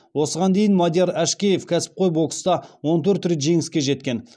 осыған дейін мадияр әшкеев кәсіпқой бокста он төрт рет жеңіске жеткен